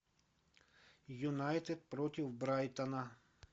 юнайтед против брайтона